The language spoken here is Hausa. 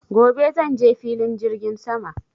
Gobe zanje Filin jirgin sama